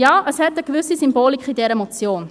Ja, es steckt eine gewisse Symbolik in dieser Motion.